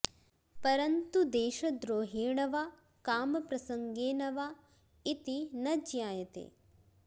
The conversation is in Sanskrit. परन्तु देशद्रोहेण वा कामप्रसङ्गेन वा इति न ज्ञायते